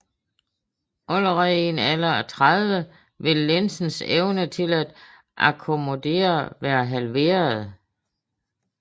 Allerede i en alder af 30 vil linsens evne til at akkommodere være halveret